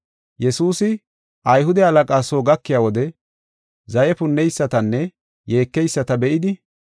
Yesuusi Ayhude halaqaa soo gakiya wode zaye punneysatanne yeekeyisata be7idi,